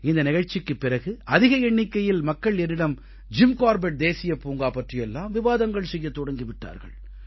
இந்த நிகழ்ச்சிக்குப் பிறகு அதிக எண்ணிக்கையில் மக்கள் என்னிடம் ஜிம் கார்பெட் தேசியப் பூங்கா பற்றியெல்லாம் விவாதங்கள் செய்யத் தொடங்கி விட்டார்கள்